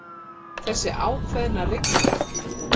Þessi ákveðna rigning.